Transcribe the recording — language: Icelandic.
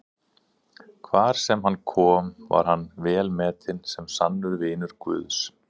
Hvar sem hann kom var hann velmetinn sem sannur vinur Guðs.